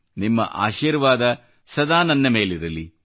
ನಿಮ್ಮ ಆಶೀರ್ವಾದ ಸದಾ ನನ್ನ ಮೇಲಿರಲಿ